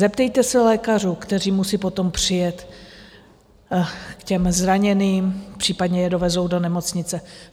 Zeptejte se lékařů, kteří musí potom přijet k těm zraněným, případně je dovezou do nemocnice.